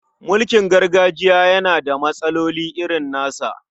Mulkin gargajiya yana da matsaloli irin nasa.